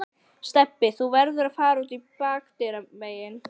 Stebbi, þú verður að fara út bakdyramegin